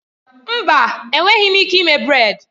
Mba! Enweghị m ike ime brèd